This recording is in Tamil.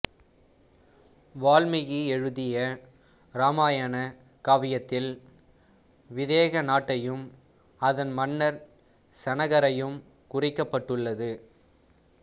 வால்மீகி எழுதிய இராமாயண காவியத்தில் விதேக நாட்டையும் அதன் மன்னர் சனகரையும் குறிக்கப்பட்டுள்ளது